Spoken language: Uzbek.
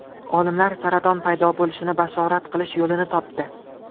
Olimlar saraton paydo bo‘lishini bashorat qilish yo‘lini topdi.